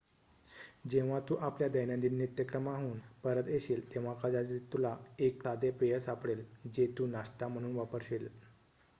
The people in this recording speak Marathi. जेव्हा तू आपल्या दैनंदिन नित्यक्रमाहून परत येशील तेव्हा कदाचित तुला एक साधे पेय सापडेल जे तू नाश्ता म्हणून वापर्शील